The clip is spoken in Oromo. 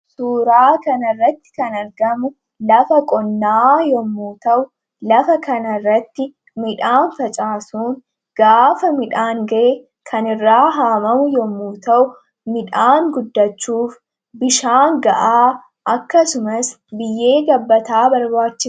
Suuraa kanarratti kan argamu lafa qonnaa yommuu ta'u lafa kan irratti midhaan facaasuun gaafa midhaan ga'e kan irraa haamamu yommu ta'u midhaan guddachuuf bishaan ga'aa akkasumas biyyee gabbataa barbaachisa.